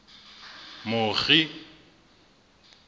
mokgi